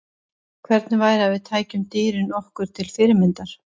Hvernig væri að við tækjum dýrin okkur til fyrirmyndar?